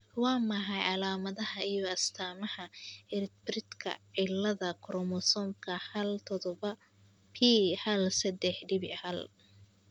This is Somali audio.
Waa maxay calaamadaha iyo astamaha ciribtirka cilada koromosomka hal todoba p hal sedex dibc hal ?